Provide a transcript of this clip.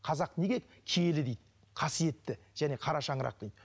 қазақ неге киелі дейді қасиетті және қара шаңырақ дейді